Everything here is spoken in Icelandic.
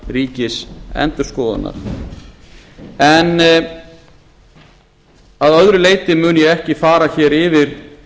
rekstrarfyrirkomulags ríkisendurskoðunar en að öðru leyti mun ég ekki fara hér yfir